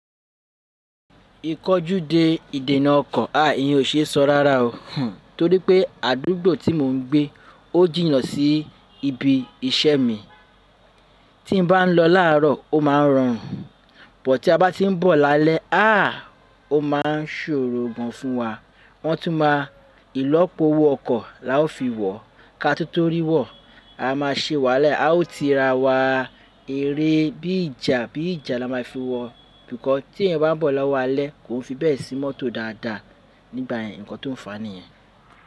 Ìkọjú de ìdènà ọkọ̀, aà iyẹn ò ṣe é sọ rárá o. Hhn, torí pé àdúgbò tí mò ń gbé ó jìnnà sí ibi iṣẹ́ mi. Tí n bá lọ láàárọ̀ ó ma ń rọrùn, but tí a bá ti n bọ̀ lálẹ́, aà ó ma ń ṣòro gan fún wa. Wọ́n tún má ilọ́po owó ọkọ̀ la ó fi wọ̀. Ká tun tọ́rí wọ̀, a má ṣe wáa la, a ó ti ra wá eré bí ìjà, bí ìjà la má fi wọ̀. Nkan tí ẹyan bá ń bọ̀ lọ́wọ́ alẹ́ kò n fi bẹ́ẹ̀ sí mọ́tò dáadáa nígbà yen nkàn tó n fàá nìyẹn.